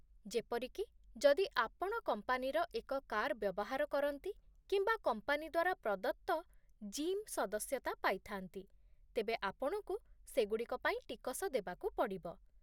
ଯେପରିକି, ଯଦି ଆପଣ କମ୍ପାନୀର ଏକ କାର୍ ବ୍ୟବହାର କରନ୍ତି କିମ୍ବା କମ୍ପାନୀ ଦ୍ୱାରା ପ୍ରଦତ୍ତ ଜିମ୍ ସଦସ୍ୟତା ପାଇଥାନ୍ତି, ତେବେ ଆପଣଙ୍କୁ ସେଗୁଡ଼ିକ ପାଇଁ ଟିକସ ଦେବାକୁ ପଡ଼ିବ।